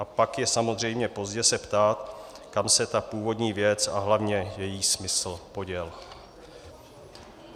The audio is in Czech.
A pak je samozřejmě pozdě se ptát, kam se ta původní věc a hlavně její smysl poděly.